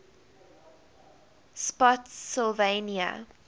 spottsylvania